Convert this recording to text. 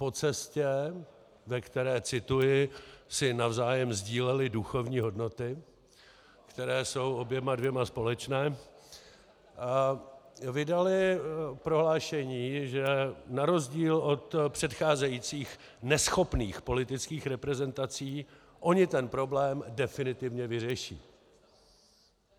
Po cestě, ve které - cituji - si navzájem sdíleli duchovní hodnoty, které jsou oběma dvěma společné, vydali prohlášení, že na rozdíl od předcházejících neschopných politických reprezentací oni ten problém definitivně vyřeší.